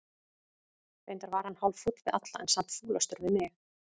Reyndar var hann hálffúll við alla, en samt fúlastur við mig.